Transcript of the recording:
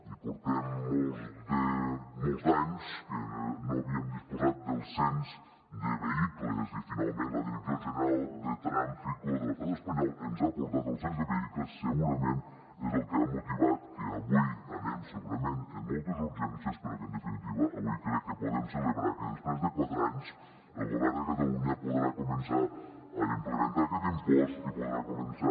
i portem molts d’anys que no havíem disposat del cens de vehicles i finalment la direcció general de tráfico de l’estat espanyol ens ha portat el cens de vehicles segurament és el que ha motivat que avui anem segurament amb moltes urgències però que en definitiva avui crec que podem celebrar que després de quatre anys el govern de catalunya podrà començar a implementar aquest impost i podrà començar